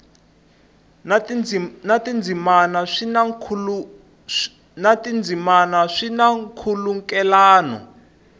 na tindzimana swi na nkhulukelano